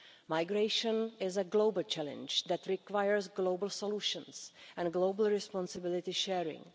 Migration is a global challenge that requires global solutions and global responsibility sharing.